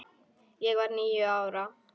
Ég var níu ára.